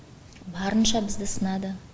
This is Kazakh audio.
барынша бізді сынады